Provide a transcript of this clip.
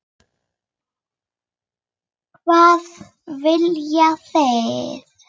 Hvað viljið þið!